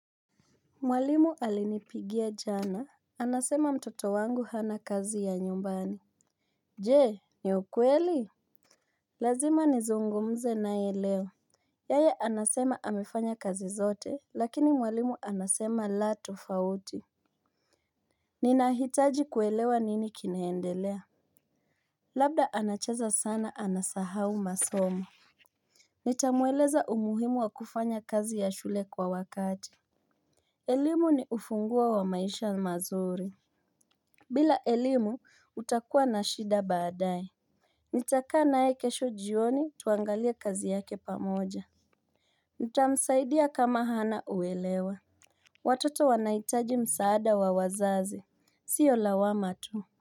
Mwalimu alinipigia jana, anasema mtoto wangu hana kazi ya nyumbani. Jee, ni ukweli? Lazima nizungumze na ye leo. Yaya anasema amifanya kazi zote, lakini mwalimu anasema la tofauti. Ninahitaji kuelewa nini kinaendelea. Labda anacheza sana anasahau masomo. Nitamueleza umuhimu wa kufanya kazi ya shule kwa wakati. Elimu ni ufungua wa maisha mazuri. Bila elimu utakuwa na shida baadae Nitaka na ye kesho jioni tuangalia kazi yake pamoja Nitamsaidia kama hana uelewa Watoto wanaitaji msaada wa wazaze, siyo lawama tuu.